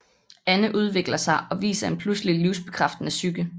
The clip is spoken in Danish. Anne udvikler sig og viser en pludselig livsbekræftende psyke